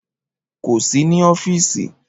Kò sí ní ọ́fíìsì